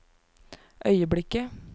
øyeblikket